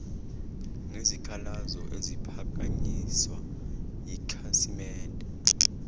nezikhalazo eziphakanyiswa yikhasimende